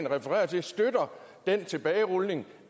refererer til støtter den tilbagerulning